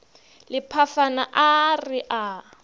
le phafana a re a